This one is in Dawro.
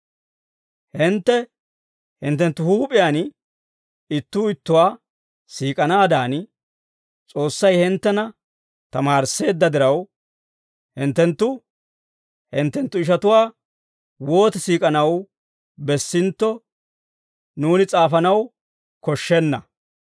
Hintte hinttenttu huup'iyaan ittuu ittuwaa siik'anaadan, S'oossay hinttena tamaarisseedda diraw, hinttenttu hinttenttu ishatuwaa wooti siik'anaw bessintto, nuuni s'aafanaw koshshenna.